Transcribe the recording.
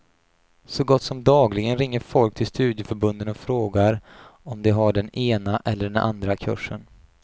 Så gott som dagligen ringer folk till studieförbunden och frågar om de har den ena eller andra kursen.